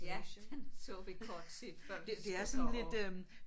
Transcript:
Ja den så vi kort tid før vi skulle derop